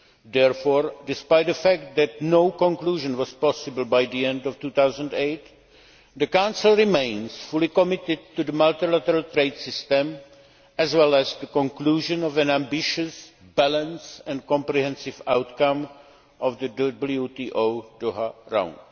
Therefore, despite the fact that no conclusion was possible by the end of 2008, the Council remains fully committed to the multilateral trade system, as well as to the conclusion of an ambitious, balanced and comprehensive outcome of the WTO Doha Round.